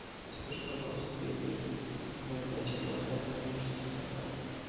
закажи пожалуйста пельмени ноль пять килограмм владимирский стандарт